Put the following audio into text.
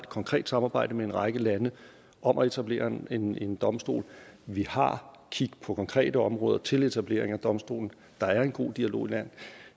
konkret samarbejde med en række lande om at etablere en en domstol og vi har kig på konkrete områder til etablering af domstole der er en god dialog